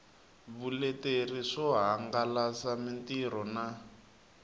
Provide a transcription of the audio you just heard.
vuleteri swo hangalasa mitirho na